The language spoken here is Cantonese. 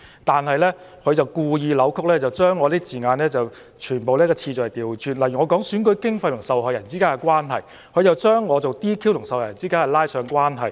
但他卻故意扭曲，將相關字眼的次序全部調換，例如我提到選舉經費與受害人之間的關係，他卻將我說的 "DQ" 與受害人拉上關係。